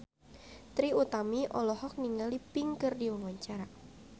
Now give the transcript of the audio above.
Trie Utami olohok ningali Pink keur diwawancara